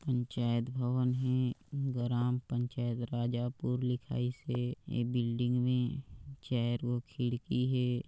पंचायत भवन हे ग्राम पंचायत राजापूर लिखाई से ये बिल्डिंग में चेअर और खिड़की हे ।